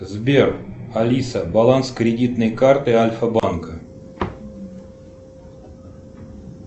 сбер алиса баланс кредитной карты альфа банка